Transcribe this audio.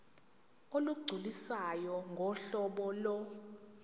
olugculisayo ngohlobo lo